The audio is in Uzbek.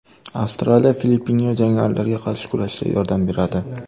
Avstraliya Filippinga jangarilarga qarshi kurashda yordam beradi.